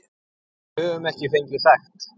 Við höfum ekki fengið sekt.